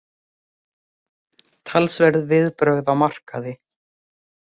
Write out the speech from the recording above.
Talsverð viðbrögð á markaði